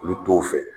Olu t'o fɛ